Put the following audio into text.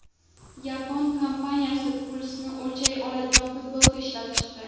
Yapon kompaniyasi pulsni o‘lchay oladigan futbolka ishlab chiqdi.